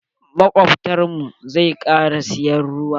Makobtan mu zai kara siyan ruwa.